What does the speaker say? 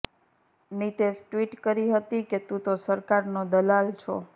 Nitesh tweet કરી હતી કે તું તો સરકારનો દલાલ છો